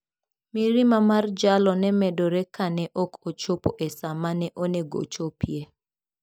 Mirima mar jalo ne medore kane ok ochopo e sa ma ne onego ochopie.